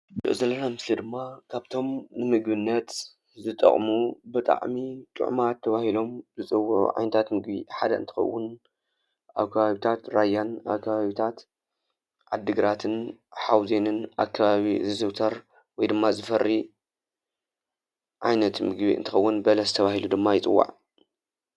እዚ ንሪኦ ዘለና ምስሊ ድማ ካብቶም ንምግብነት ዝጠቕሙ ብጣዕሚ ጥዑማት ተባሂሎም ዝፅውዑ ዓይነታት ምግቢ ሓደ እንትኸውን ኣብ ከባቢታት ራያን ኣብ ከባቢታት ዓዲግራትን ሓውዜንን ኣከባቢ ዝዝውተር ወይድማ ዝፈርይ ዓይነት ምግቢ እንትኸውን በለስ ተባሂሉ ድማ ይፅዋዕ፡፡